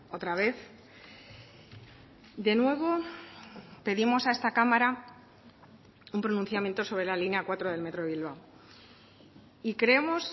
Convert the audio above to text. otra vez de nuevo pedimos a esta cámara un pronunciamiento sobre la línea cuatro del metro de bilbao y creemos